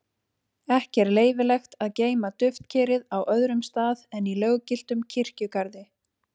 Ekki er leyfilegt að geyma duftkerið á öðrum stað en í löggiltum kirkjugarði.